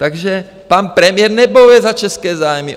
Takže pan premiér nebojuje za české zájmy!